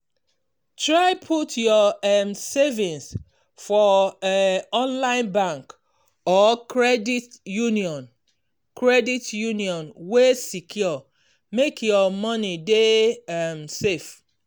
try put your um savings for um online bank or credit union credit union wey secure make your money dey um safe.